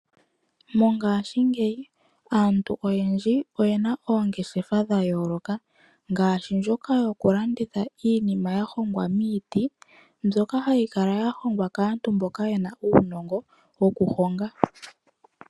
Mongaashingeyi aantu oyendji oyena oongeshefa dha yooloka ngaaashi ndjoka yoku landitha iinima ya hongwa miiti mbyoka hayi kala ya hongwa kaantu mboka yena uunongo wokuhonga .